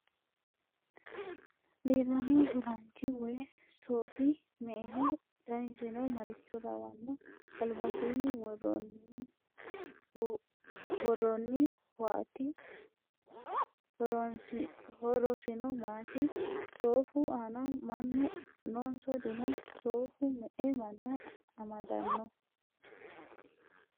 Leellanno ofollaanchi woyi soofi me'eho? Danisino maricho lawanno? Albasiinni worroonnihuaati ? Horosino maati? Soofu aana mannu noonso dino? Soofu me'e manna amadanno?